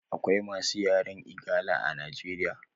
Akawai masu yaren igala a nigeria